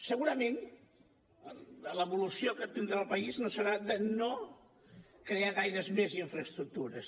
segurament l’evolució que tindrà el país no serà de no crear gaires més infraestructures